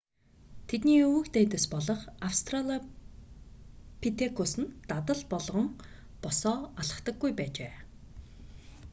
тэдний өвөг дээдэс болох австралопитекус нь дадал болгон босоо алхдаггүй байжээ